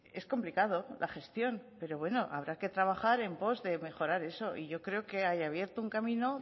es complicada la gestión pero habrá que trabajar en post de mejorar eso y yo creo que hay abierto un camino